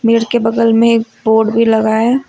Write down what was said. के बगल में एक बोर्ड भी लगा है।